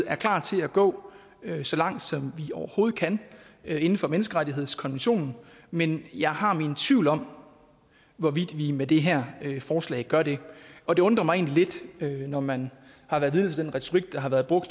er klar til at gå så langt som vi overhovedet kan inden for menneskerettighedskonventionen men jeg har mine tvivl om hvorvidt vi med det her forslag gør det og det undrer mig egentlig lidt når man har været vidne til den retorik der har været brugt